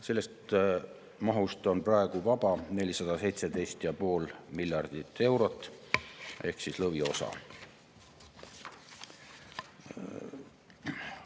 Sellest mahust on praegu vaba 417,5 miljardit eurot ehk lõviosa.